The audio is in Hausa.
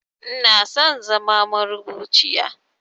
Inaso in zama marubuciya